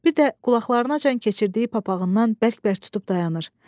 Bir də qulaqlarınacan keçirdiyi papağından bərk-bərk tutub dayanır.